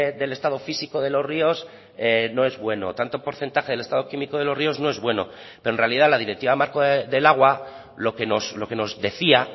del estado físico de los ríos no es bueno tanto porcentaje del estado químico de los ríos no es bueno pero en realidad la directiva marco del agua lo que nos decía